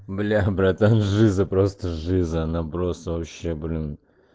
бля братан жиза просто жиза она просто вообще блин